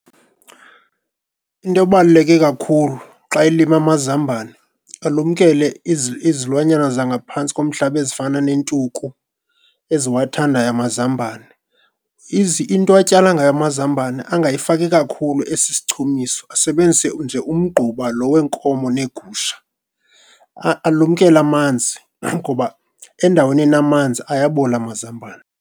Into ebaluleke kakhulu xa elima amazambane alumkele izilwanyana zangaphantsi komhlaba ezifana nentuku, eziwathandayo amazambane. Into atyala ngayo amazambane angayifaki kakhulu esisichumisi, asebenzise nje umgquba lo weenkomo neegusha. Alumkele amanzi ngoba endaweni enamanzi ayabola amazambane.